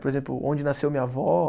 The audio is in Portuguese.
Por exemplo, onde nasceu minha avó.